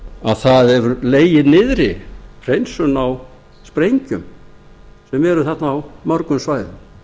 að það hefur legið niðri hreinsun á sprengjum sem eru þarna á mörgum svæðum